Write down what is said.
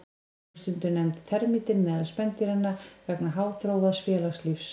Hún er stundum nefnd termítinn meðal spendýranna vegna háþróaðs félagslífs.